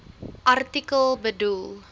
artikel bedoel